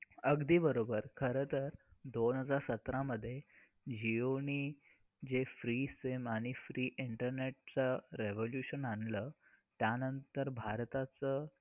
अगदी बरोबर. खरं तर दोन हजार सतरा मध्ये जिओ ने जे free SIM आणि free internet चा revolution आणलं त्यानंतर भारताचं,